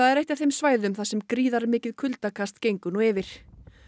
er eitt af þeim svæðum þar sem gríðarmikið kuldakast gengur nú yfir